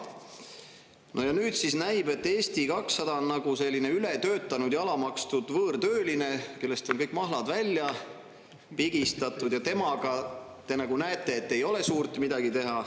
No ja nüüd siis näib, et Eesti 200 on nagu selline ületöötanud ja alamakstud võõrtööline, kellest on kõik mahlad välja pigistatud, ja temaga, te näete, ei ole suurt midagi teha.